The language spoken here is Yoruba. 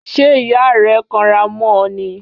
Ṣé ìyá rẹ kanra mọ́ ọ ni?